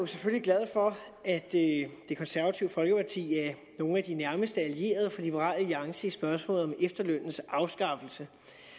selvfølgelig glad for at det konservative folkeparti er nogle af de nærmest allierede for liberal alliance i spørgsmålet om efterlønnens afskaffelse